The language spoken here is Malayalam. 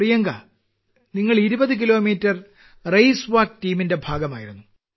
പ്രിയങ്ക നിങ്ങൾ 20 കിലോമീറ്റർ റേസ്വാക്ക് ടീമിന്റെ ഭാഗമായിരുന്നു